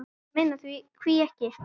Ég meina hví ekki?